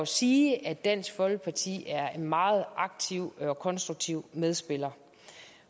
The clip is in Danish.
sige at dansk folkeparti er en meget aktiv og konstruktiv medspiller